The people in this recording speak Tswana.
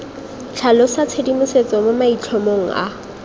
tlhalosa tshedimosetso mo maitlhomong a